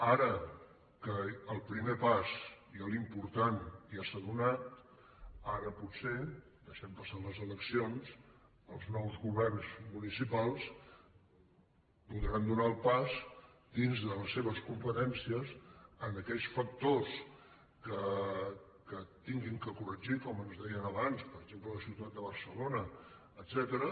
ara que el primer pas i l’important ja s’ha fet ara potser deixem passar les eleccions els nous governs municipals podran fer el pas dins de les seves competències en aquells factors que hagin de corregir com ens deien abans per exemple a la ciutat de barcelona etcètera